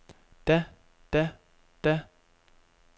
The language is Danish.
da da da